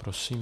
Prosím.